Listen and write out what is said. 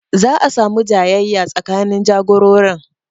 Za'a samu jayayya tsakanin jagororin